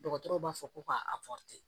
Dɔgɔtɔrɔw b'a fɔ ko ka